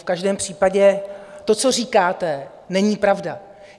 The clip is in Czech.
V každém případě to, co říkáte, není pravda.